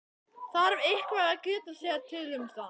Þarf eitthvað að geta sér til um það?